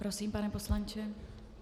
Prosím, pane poslanče.